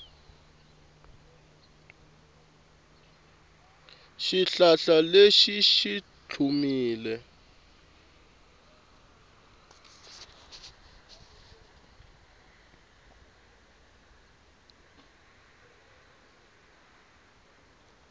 xihlahla lexi xi tlhumile